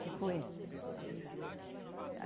Ficou ele.